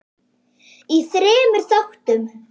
í þremur þáttum.